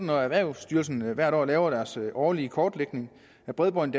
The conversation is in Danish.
når erhvervsstyrelsen hvert år laver deres årlige kortlægning af bredbånd